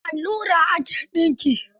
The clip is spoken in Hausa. The allura ake dinki.